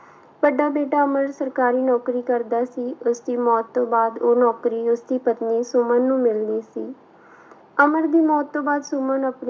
ਵੱਡਾ ਬੇਟਾ ਅਮਰ ਸਰਕਾਰੀ ਨੌਕਰੀ ਕਰਦਾ ਸੀ, ਉਸਦੀ ਮੌਤ ਤੋਂ ਬਾਅਦ ਉਹ ਨੌਕਰੀ ਉਸਦੀ ਪਤਨੀ ਸੁਮਨ ਨੂੰ ਮਿਲਣੀ ਸੀ ਅਮਰ ਦੀ ਮੌਤ ਤੋਂ ਬਾਅਦ ਸੁਮਨ